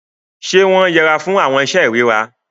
Ṣe wọn yẹ'ra fún awọn iṣe irira?